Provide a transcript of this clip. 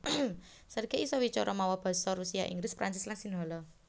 Sergey isa wicara mawa basa Rusia Inggris Prancis lan Sinhala